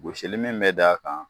Gosili min be d'a kan